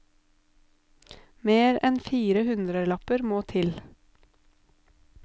Mer enn fire hundrelapper må til.